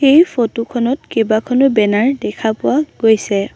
এই ফটোখনত কেইবাখনো বেনাৰ দেখা পোৱা গৈছে।